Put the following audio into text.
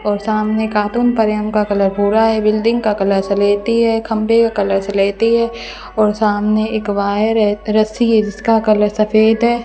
और सामने कार्टून पड़े उनका का कलर भूरा है बिल्डिंग का कलर सलेटी है खंभे का कलर सलेटी है और सामने एक वायर है रस्सी है जि सका कलर सफेद है।